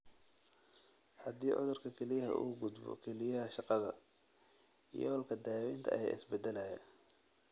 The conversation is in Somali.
Haddii cudurka kelyaha uu u gudbo kelyaha shaqada, yoolka daawaynta ayaa isbedelaya.